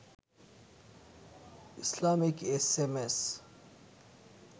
ইসলামীক S M S